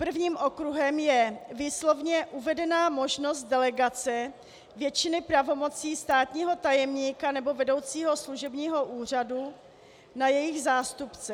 Prvním okruhem je výslovně uvedená možnost delegace většiny pravomocí státního tajemníka nebo vedoucího služebního úřadu na jejich zástupce.